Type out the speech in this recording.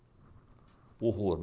Horror.